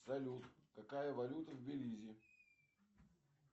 салют какая валюта в белизе